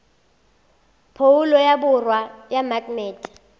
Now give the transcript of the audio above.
phoulo ya borwa ya maknete